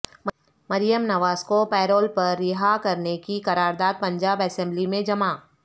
مریم نواز کو پیرول پر رہا کرنے کی قرار داد پنجاب اسمبلی میں جمع